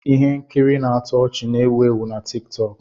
Ihe nkiri na-atọ ọchị na-ewu ewu na tiktoku